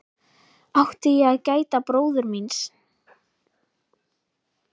Átti ég að gæta bróður míns?